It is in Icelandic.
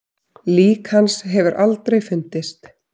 Lík hans hefur aldrei fundist.